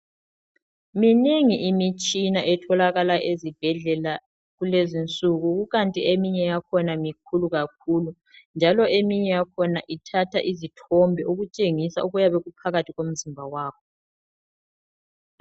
Minengi imitshina etholakala ezibhedlela kulezi nsuku kukanti eminye yakhona mikhulu kakhulu njalo eminye yakhona ithatha izithombe ikutshengisa okuyabe kuphakathi komzimba wakho.